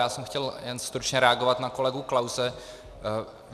Já jsem chtěl jen stručně reagovat na kolegu Klause.